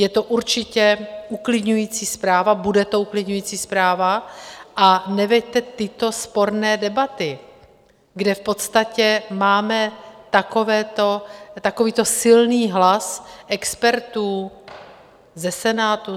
Je to určitě uklidňující zpráva, bude to uklidňující zpráva, a neveďte tyto sporné debaty, kde v podstatě máme takovýto silný hlas expertů ze Senátu.